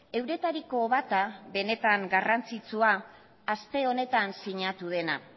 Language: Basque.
euretariko bata benetan garrantzitsua aste honetan sinatu dena